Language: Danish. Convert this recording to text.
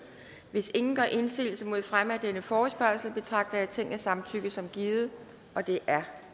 hvis ingen gør indsigelse mod fremme af denne forespørgsel betragter jeg tingets samtykke som givet det er